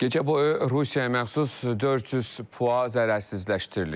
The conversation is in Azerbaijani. Gecə boyu Rusiyaya məxsus 400 PUA zərərsizləşdirilib.